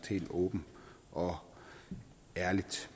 helt åbent og ærligt